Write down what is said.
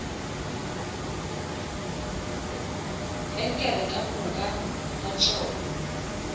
angle ka moka ga tšona